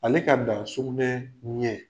Ale ka ban sugunɛ ɲɛ.